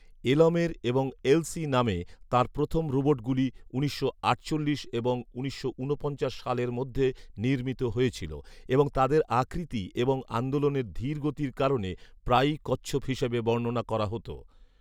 এলমের এবং এলসি নামে তাঁর প্রথম রোবটগুলি উনিশশো আটচল্লিশ এবং উনিশশো ঊনপঞ্চাশ সালের মধ্যে নির্মিত হয়েছিল এবং তাদের আকৃতি এবং আন্দোলনের ধীর গতির কারণে প্রায়ই "কচ্ছপ" হিসেবে বর্ণনা করা হতো